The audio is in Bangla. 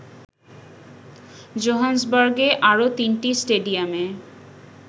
জোহানেসবার্গের আরো তিনটি স্টেডিয়ামে